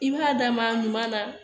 I b'a d'a ma ɲuman na